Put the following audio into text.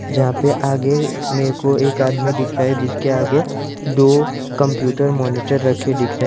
जहां पे आगे मेरे को एक आदमी दिख रहा है जिसके आगे दो कंप्यूटर मॉनिटर रखे दिख रहे हैं।